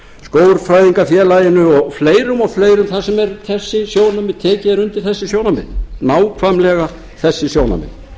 skógfræðingafélaginu og fleirum og fleirum þar sem tekið er undir þessi sjónarmið nákvæmlega þessi sjónarmið